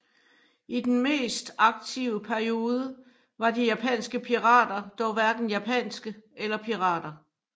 I den mest aktive periode var de japanske pirater dog hverken japanske eller pirater